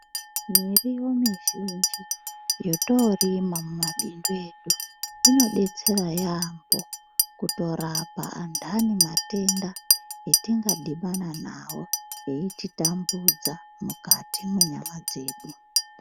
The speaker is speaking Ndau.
Miriwo mizhinji yótoorima mumabindu edu inodetsera yaamho kutorapa antani matenda atingadhibana nawo eititambudza mukati mwenyama dzedu.